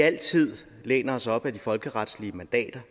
altid læner os op ad de folkeretslige mandater